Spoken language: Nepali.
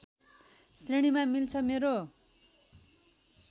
श्रेणीमा मिल्छ मेरो